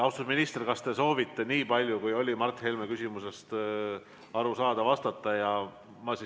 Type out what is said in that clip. Austatud minister, kas te soovite nii paljule, kui oli Mart Helme küsimusest aru saada, vastata?